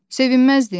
Sevinməzdim?